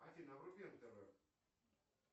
афина вруби нтв